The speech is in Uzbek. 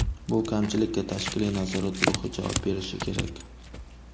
Bu kamchilikka tashkiliy nazorat guruhi javob berishi kerak.